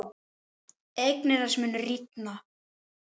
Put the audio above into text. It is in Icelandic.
Eignir þess munu rýrna.